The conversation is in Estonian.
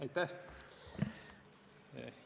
Aitäh!